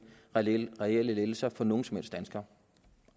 reelle reelle lettelser for nogen som helst danskere